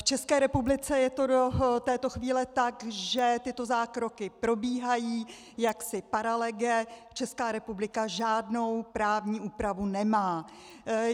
V České republice je to do této chvíle tak, že tyto zákroky probíhají jaksi paralege, Česká republika žádnou právní úpravu nemá.